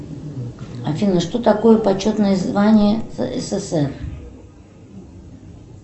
афина что такое почетное звание ссср